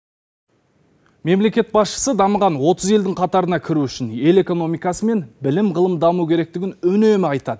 мемлекет басшысы дамыған отыз елдің қатарына кіру үшін ел экономикасы мен білім ғылым даму керектігін үнемі айтады